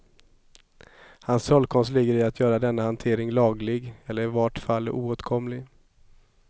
Hans trollkonst ligger i att göra denna hantering laglig eller i vart fall oåtkomlig.